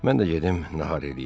Mən də gedim nahar eləyim.